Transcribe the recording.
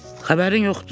Xəbərin yoxdur?